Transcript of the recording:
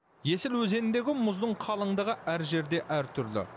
есіл өзеніндегі мұздың қалыңдығы әр жерде әртүрлі